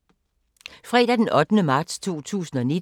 Fredag d. 8. marts 2019